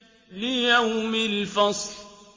لِيَوْمِ الْفَصْلِ